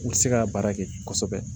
U tɛ se ka baara kɛ kosɛbɛ